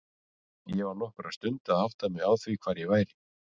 Ég var nokkra stund að átta mig á því hvar ég væri.